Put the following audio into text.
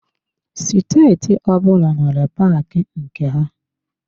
Steeti ọbụla nwere paaki nke ha.